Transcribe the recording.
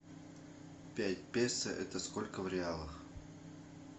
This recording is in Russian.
пять песо это сколько в реалах